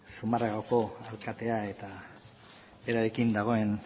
zumarragako alkatea eta berarekin dagoen